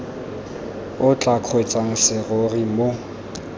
o tla kgweetsang serori mo